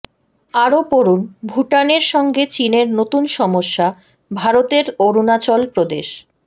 আরও পড়ুন ভুটানের সঙ্গে চীনের নতুন সমস্যা ভারতের অরুণাচল প্রদেশ